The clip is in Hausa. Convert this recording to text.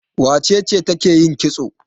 Wace ce take yin kitso?